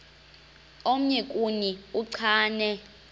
omnye kuni uchane